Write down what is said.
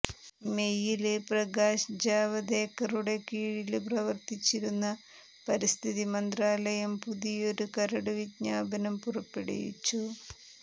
മേയില് പ്രകാശ് ജാവദേക്കറുടെ കീഴില് പ്രവര്ത്തിച്ചിരുന്ന പരിസ്ഥിതി മന്ത്രാലയം പുതിയൊരു കരടുവിജ്ഞാപനം പുറപ്പെടുവിച്ചു